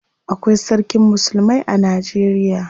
Akwai sarkin musulmai a Najeriya.